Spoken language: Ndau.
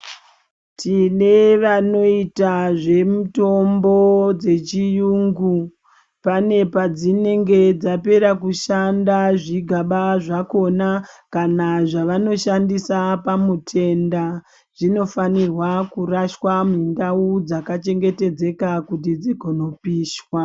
Tine vanoita zvemitombo dzechiyungu pane padzinenge dzapera kushanda zvigaba zvakhona kana zvavanoshandisa pamutenda zvinofanirwa kurashwa mundau dzakachengetedzeka kuti dzigonopishwa.